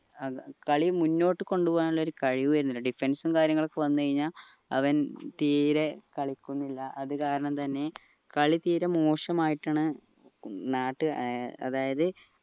ഏർ കളി മുന്നോട്ട് കൊണ്ടുപോകാൻ ഉള്ള ഒരു കഴിവ് ഇവനുണ്ട് defense ഉം കാര്യങ്ങളും ഒക്കെ വന്നു കഴിഞ്ഞാൽ അവൻ തീരെ കളിക്കുന്നില്ല അത് കാരണം തന്നെ കളി തീരെ മോശമായിട്ടാണ് അതായത്